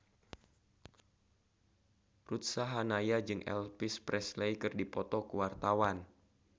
Ruth Sahanaya jeung Elvis Presley keur dipoto ku wartawan